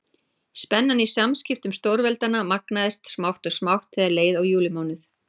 Spennan í samskiptum stórveldanna magnaðist smátt og smátt þegar leið á júlímánuð.